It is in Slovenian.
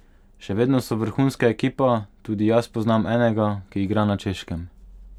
Še vedno so vrhunska ekipa, tudi jaz poznam enega, ki igra na Češkem.